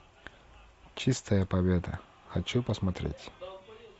чистая победа хочу посмотреть